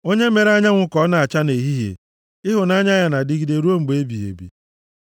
Onye mere anyanwụ ka ọ na-acha nʼehihie, Ịhụnanya ya na-adịgide ruo mgbe ebighị ebi.